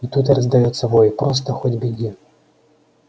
и тут раздаётся вой просто хоть беги